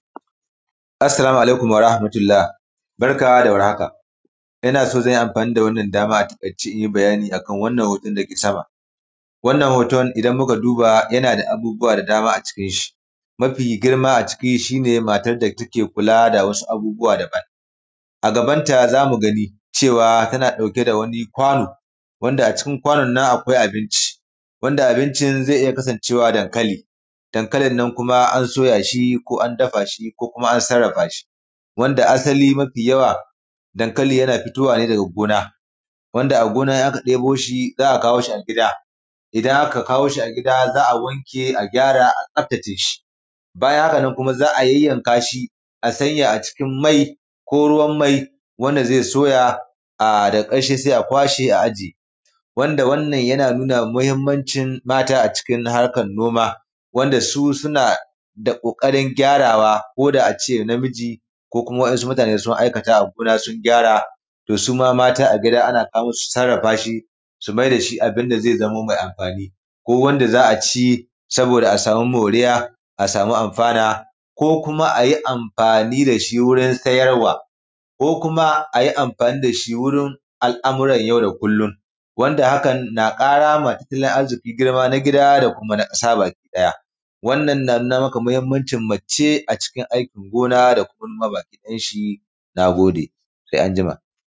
Assalamu alaikum warahamatullah barka da war haka ina son zan yi amfani da wannan dama a takaice in yi bayani a kan wannan hoton da yake sama. Wannan hoton idan muka duba yana da abubuwa da dama a cikinsa abu mafi girma a ciki shi ne matar da take kula da abubuwa daban a gabanta za mu gani tana kula da wani kwano wanda a cikin kwanon wanda cikin akwai abincin, abincin zai iya kasancewa dankali. Dankalin nan kuma ko an soya shi ko an dafa shi ko kuma an sarrafa shi. Wanda asali mafi yawa dankali yana fitowa daga gona. Wanda a gona idan aka debo shi za a kawo shi gida, idan aka. kawo shi a gida za a wanke a gyara a tsaftace shi. Bayan hakan na za a yayyanka a sa shi a mai wanda zai soya daga karshe sai a kwace a ajiye. Wanda wannan yana nuna muhimmanci mata a cikin na harkan noma wanda su suna da kokarin gyarawa ko da a ce namiji ko kuma wasu mutane sun aikata a gona sun gyara. Su ma mata a gida ana kawo musu a gida suna sarrafa shi su maida shi abun da zai zamo mai amfani ko wanda za a ci saboda a samu moriya don amfana ko a yi amfani da shi wajen sayarwa ko a yi amfani da shi wurin al'amura yau da kullum don kara wa tattalin arzikin na gida da kuma na ƙasa baki ɗaya. Wannan na nuna ma muhimmancin mata a cikin aikin gona na gode.